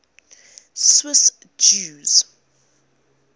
swiss jews